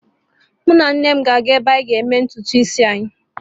Mụ na nne m ga-aga ebe a ga eme ntutu isi anyị.